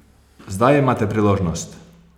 Zdaj imate priložnost!